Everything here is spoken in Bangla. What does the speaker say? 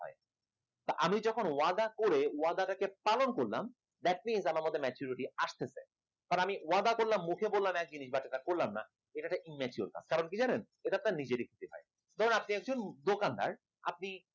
আমি যখন ওয়াদা করে ওয়াদাটাকে পালন করলাম that's mean আমার মধ্যে maturity আসতেছে কারণ আমি ওয়াদা করলাম মুখে বললাম এক জিনিস বাকিটা করলাম না এটা একটা immature ভাব কারণ কি জানেন এটা একটা নিজের ধরুন আপনি একজন দোকানদার আপনি